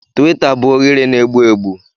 Tiwita bụ oghere na-egbu egbu.